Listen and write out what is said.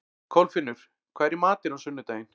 Kolfinnur, hvað er í matinn á sunnudaginn?